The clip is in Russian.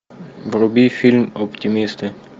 вруби фильм оптимисты